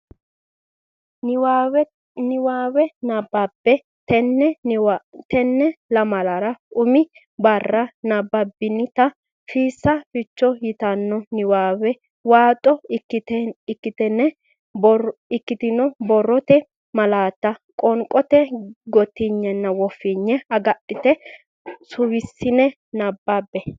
Niwaawe Nabbawa Tenne lamalara umi barra nabbabbinita Fiissa Ficho yitanno niwaawe waaxo ikkitine borrote malaatta qoonqote gottinaatenna woffinaate agadhitine suwissine nabbabbe.